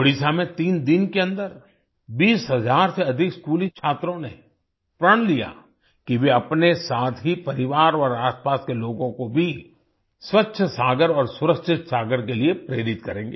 ओडिशा में तीन दिन के अन्दर 20 हजार से अधिक स्कूली छात्रों ने प्रण लिया कि वे अपने साथ ही परिवार और आसपास के लोगों को भी स्वच्छ सागर और सुरक्षित सागर के लिए प्रेरित करेंगे